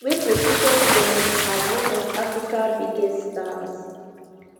wey position dem as one of africa biggest stars